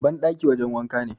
bandaki wajen wanka ne